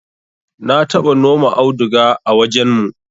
na taba noma auduga a wajen mu